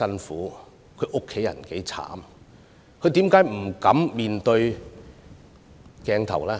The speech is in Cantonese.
為何他們不敢面對鏡頭呢？